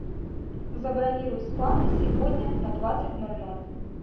забронируй спа на сегодня на двадцать ноль ноль